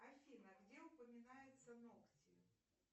афина где упоминаются ногти